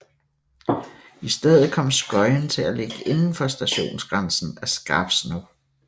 I stedet kom Skøyen til at ligge indenfor stationsgrænsen af Skarpsno